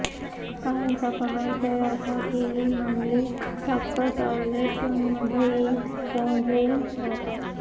काहींचा कहर तर असा की ही मंडळी चक्क टॉयलेटमध्येही फोन घेऊन जातात